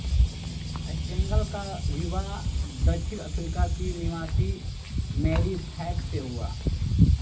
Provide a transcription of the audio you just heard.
Stengel का विवाह दक्षिण अफ्रीका की निवासी मैरी फ़ैफ़ से हुआ